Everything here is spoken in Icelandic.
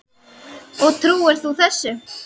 Og trúir þú þessu?